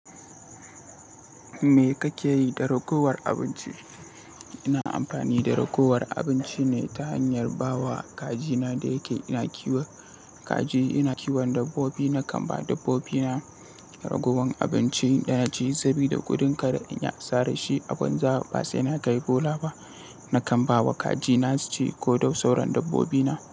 Me kake yi da ragowar abinci? Ina amfani da ragowar abinci ne ta hanyar ba wa kajina da yake ina kiwon kaji. Ina kiwon dabbobi, na kan ba dabbobina ragowar abinci yana ci sabida gudun kar in yi asarar shi. A gwanja ba sai na kai bola ba. Na kan ba wa kajina su ci ko dai sauran dabbobina.